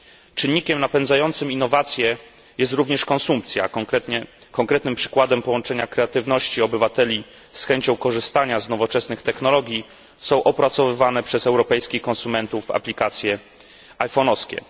Czynnikiem napędzającym innowacje jest również konsumpcja, a konkretnym przykładem połączenia kreatywności obywateli z chęcią korzystania z nowoczesnych technologii są opracowywane przez europejskich konsumentów aplikacje iPhonowskie.